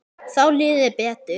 Þá líður þér betur.